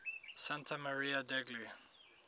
santa maria degli